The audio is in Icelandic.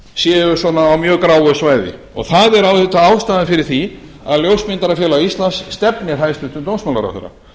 séu svona á mjög gráu svæði og það er auðvitað ástæðan fyrir því að ljósmyndarafélag íslands stefnir hæstvirtur dómsmálaráðherra